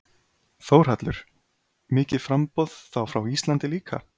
Þórhallur: Mikið framboð, þá frá Íslandi líka?